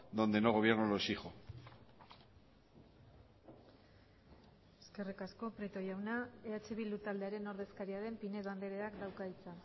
donde no gobierno lo exijo eskerrik asko prieto jauna eh bildu taldearen ordezkaria den pinedo andreak dauka hitza